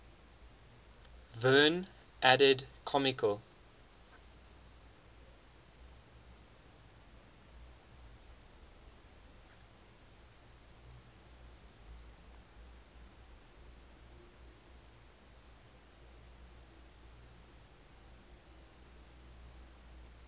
verne added comical